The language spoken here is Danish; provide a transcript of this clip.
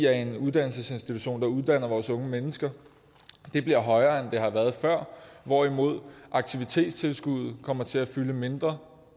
er en uddannelsesinstitution som uddanner vores unge mennesker det bliver højere end det har været før hvorimod aktivitetstilskuddet kommer til at fylde mindre